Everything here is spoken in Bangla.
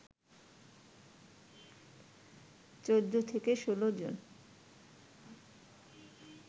১৪ থেকে ১৬ জন